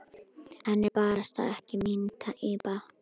Hann er barasta ekki mín týpa.